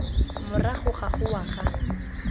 morago ga go wa ga